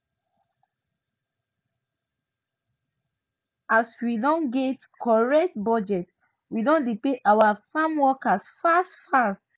as we don get correct budget we dey pay our farmworkers fast fast now